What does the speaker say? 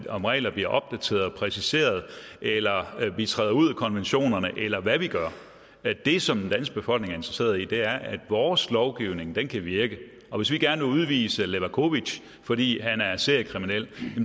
om reglerne bliver opdateret og præciseret eller om vi træder ud af konventionerne eller hvad vi gør det som den danske befolkning er interesseret i er at vores lovgivning kan virke og hvis vi gerne vil udvise levakovic fordi han er seriekriminel